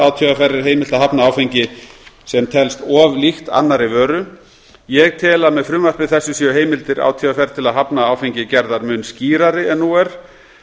átvr er heimilt að hafna áfengi sem telst of líkt annarri vöru ég tel að með frumvarpi þessu séu heimildir átvr til að hafna áfengi gerðar mun skýrari en nú er